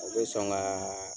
O bɛ sɔn ka